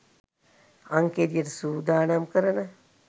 අං කෙළියට සූදානම් කරන